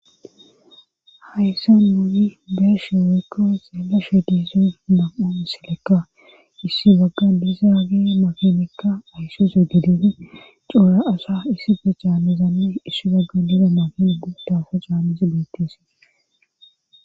Hayssa nuuyi beeshe weekkae xeela she diise mam7u silekka issi bagga dize agi makinekka aysuse gidine coora asa issife caammizame issi bagga dize makini gu taafa caammisi beettisi